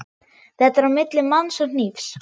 Þetta er á milli manns og hnífs.